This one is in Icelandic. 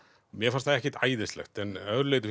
mér fannst það ekkert æðislegt en að öðru leyti